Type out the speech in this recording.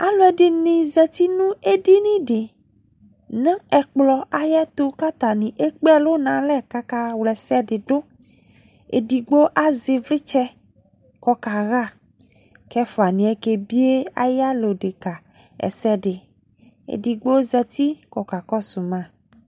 Alɔde ne zati no edini de no ɛkplɔ ayeto ko atane ekpe ɛlu no alɛ ko aka wlɛsɛ de do Edigbo azɛ evletsɛ ko ɔkaha ko ɛfuaneɛ kebie aye yala odeka ɛdɛde, Edigbo zati ko ɔkaa kɔso ma